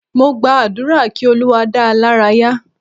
Mo gba àdúrà kí Olúwa dáa lára ya